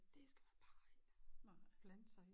Det skal man bare ikke blande sig i